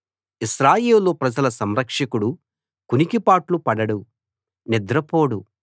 ఇశ్రాయేలు ప్రజల సంరక్షకుడు కునికిపాట్లు పడడు నిద్రపోడు